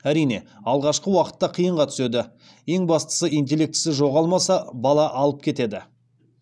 әрине алғашқы уақытта қиынға түседі ең бастысы интеллектісі жоғалмаса бала алып кетеді